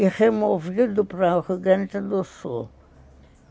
e removido para o Rio Grande do Sul.